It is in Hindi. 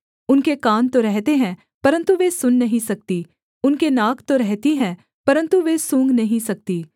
उनके कान तो रहते हैं परन्तु वे सुन नहीं सकती उनके नाक तो रहती हैं परन्तु वे सूँघ नहीं सकती